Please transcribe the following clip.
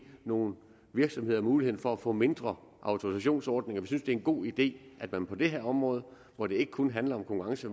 nogle virksomheder mulighed for at få mindre autorisationsordninger vi synes det er en god idé at man på det her område hvor det ikke kun handler om konkurrence